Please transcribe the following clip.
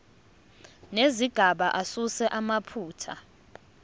nezigaba asuse amaphutha